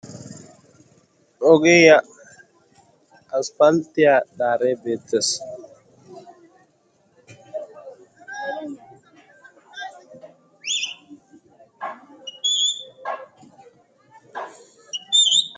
ogiya asppalttiyaa daare beettees.